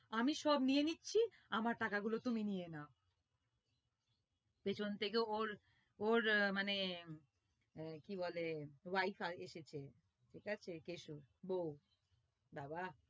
আমি সব নিয়ে নিচ্ছি আমার টাকা গুলো তুমি নিয়ে নাও পেছন থেকে ওর ওর মানে কি বলে wife এসেছে ঠিক আছে কেশুর বৌ বাবা